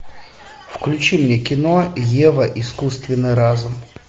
включи мне кино ева искусственный разум